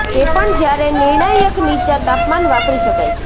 તે પણ જ્યારે નિર્ણાયક નીચા તાપમાન વાપરી શકાય છે